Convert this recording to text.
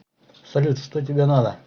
салют что тебе надо